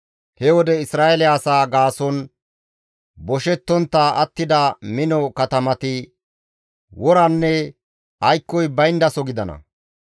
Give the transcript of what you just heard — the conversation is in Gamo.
He wode Isra7eele asaa gaason boshettontta attida mino katamati woranne aykkoy bayndaso gidana.